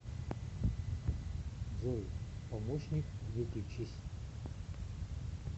джой помощник выключись